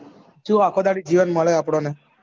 શું આખો દાડી ઘેર મળે આપને